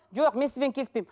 жоқ мен сізбен келіспеймін